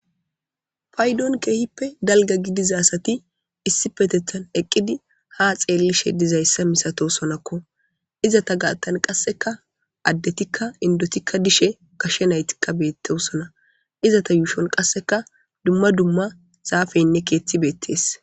Paydon keehippe dalga gidizasati issi petethan eqqidi ha xeellishe dizayssa misato sonakko izata gaattan qasseka addetikka indotikka dishe kashe naytikka beetteusona izata yuushon qasseka dumma dumma zaafeynne keetti beettees